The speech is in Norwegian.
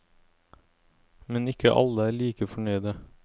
Men ikke alle er like fornøyde.